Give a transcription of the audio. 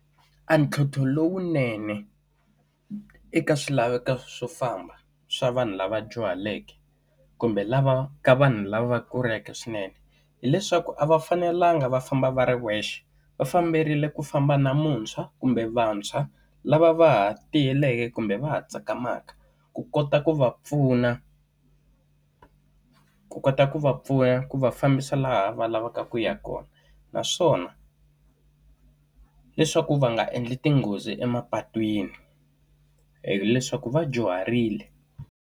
A ntlhontlho lowunene eka swilaveko swo famba swa vanhu lava dyuhaleke kumbe lava ka vanhu lava kuleke swinene, hileswaku a va fanelanga va famba va ri wexe. Va fanerile ku famba na muntshwa kumbe vantshwa lava va ha tiyeleke kumbe va ha tsakamaka, ku kota ku va pfuna ku kota ku va pfuna ku va fambisa laha va lavaka ku ya kona. Naswona, leswaku va nga endli tinghozi emapatwini hileswaku va dyuharile.